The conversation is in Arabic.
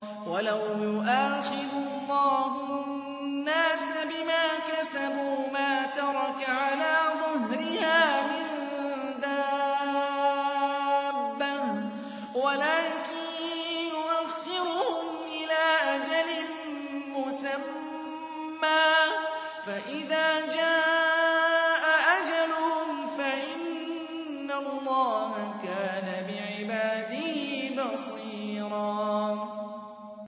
وَلَوْ يُؤَاخِذُ اللَّهُ النَّاسَ بِمَا كَسَبُوا مَا تَرَكَ عَلَىٰ ظَهْرِهَا مِن دَابَّةٍ وَلَٰكِن يُؤَخِّرُهُمْ إِلَىٰ أَجَلٍ مُّسَمًّى ۖ فَإِذَا جَاءَ أَجَلُهُمْ فَإِنَّ اللَّهَ كَانَ بِعِبَادِهِ بَصِيرًا